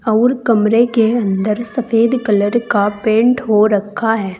और कमरे के अंदर सफेद कलर का पेंट हो रखा है।